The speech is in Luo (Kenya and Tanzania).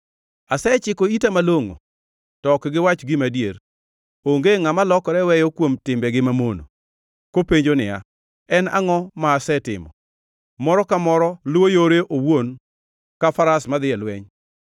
Asechiko ita malongʼo, to ok giwach gima adier. Onge ngʼama lokore weyo kuom timbegi mamono, kopenjo niya, “En angʼo ma asetimo?” Moro ka moro luwo yore owuon ka faras madhi e lweny.